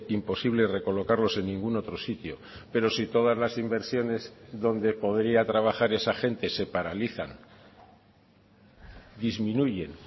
imposible recolocarlos en ningún otro sitio pero si todas las inversiones donde podría trabajar esa gente se paralizan disminuyen